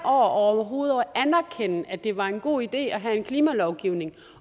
overhovedet at anerkende at det var en god idé at have en klimalovgivning